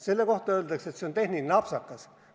Selle kohta öeldakse, et see on tehniline apsakas.